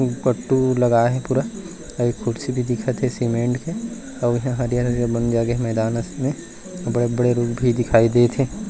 लगाए हे पूरा आऊ कुर्सी भी दिखत हे सीमेंट के आऊ ईहा हरियर-हरियर बंद जागे हे मैदान में बड़े-बड़े रूम भी दिखाई देत हे।